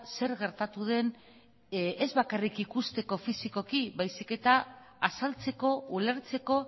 zer gertatu den ez bakarrik ikusteko fisikoki baizik eta azaltzeko ulertzeko